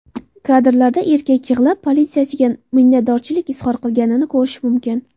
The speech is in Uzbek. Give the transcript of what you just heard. Kadrlarda erkak yig‘lab, politsiyachiga minnatdorlik izhor qilganini ko‘rish mumkin.